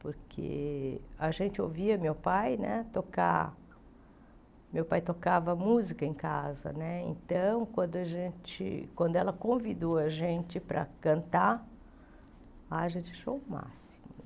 porque a gente ouvia meu pai né tocar, meu pai tocava música em casa, então, quando a gente quando ela convidou a gente para cantar, a gente achou o máximo.